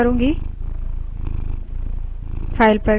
file पर hit करें save सेब करें